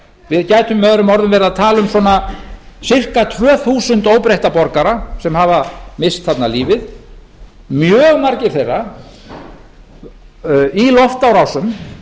við gætum möo verið að tala um svona sirka tvö þúsund óbreytta borgara sem hafa misst þarna lífið mjög margir þeirra í loftárásum